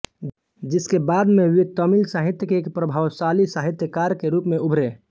जिसके बाद वे तमिल साहित्य के एक प्रभावशाली साहित्यकार के रूप में उभरे